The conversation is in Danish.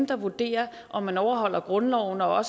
der vurderer om man overholder grundloven og